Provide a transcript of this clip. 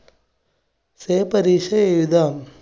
say പരീക്ഷ എഴുതാം.